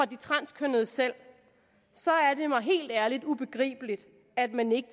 de transkønnede selv er det mig helt ærligt ubegribeligt at man ikke